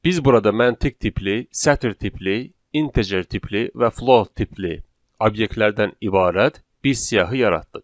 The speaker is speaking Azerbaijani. Biz burada məntiq tipli, sətr tipli, integer tipli və float tipli obyektlərdən ibarət bir siyahı yaratdıq.